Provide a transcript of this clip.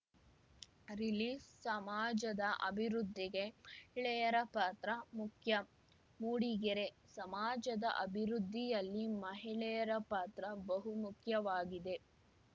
ರಿಲೀಸ್‌ಸಮಾಜದ ಅಭಿವೃದ್ಧಿಗೆ ಮಹಿಳೆಯರ ಪಾತ್ರ ಮುಖ್ಯ ಮೂಡಿಗೆರೆ ಸಮಾಜದ ಅಭಿವೃದ್ಧಿಯಲ್ಲಿ ಮಹಿಳೆಯರ ಪಾತ್ರ ಬಹುಮುಖ್ಯವಾಗಿದೆ